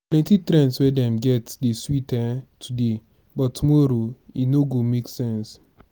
plenty trends wey dem get dey sweet um today but tomorrow e no go make sense.